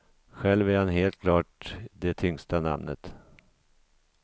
Själv är han helt klart det tyngsta namnet.